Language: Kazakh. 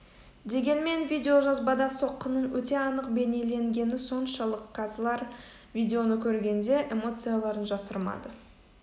дегенмен видеожазбада соққының өте анық бейнеленгені соншалық қазылар видеоны көргенде эмоцияларын жасырмады